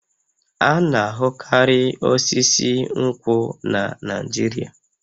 A na-ahụkarị osisi nkwụ na Naịjirịa